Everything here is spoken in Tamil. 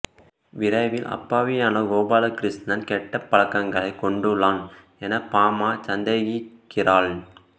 விரைவில் அப்பாவியான கோபாலகிருஷ்ணன் கெட்ட பழக்கங்களைக் கொண்டுள்ளான் என பாமா சந்தேகிக்கிறாள்